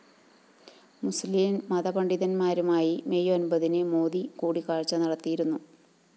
മുസ്ലിം മതപണ്ഡിതന്മാരുമായി മെയ്‌ ഒന്‍പതിന് മോദി കൂടിക്കാഴ്ച നടത്തിയിരുന്നു